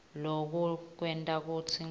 loku kwenta kutsi